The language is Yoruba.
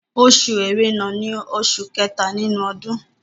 Oṣù Ẹrẹ̀nà ní oṣù kẹta nínú ọdún